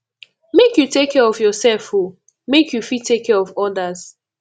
make you take care of yoursef o make you fit take care of odas